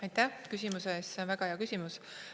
Aitäh küsimuse eest, see on väga hea küsimus.